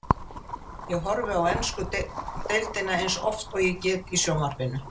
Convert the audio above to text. Ég horfi á ensku deildina eins oft og ég get í sjónvarpinu.